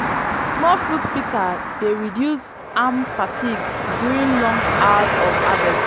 small fruit pika dey reduce arm fatigue during long hours of harvest